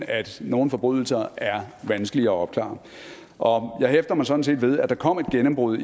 at nogle forbrydelser er vanskelige at opklare og jeg hæfter mig sådan set ved at der kom et gennembrud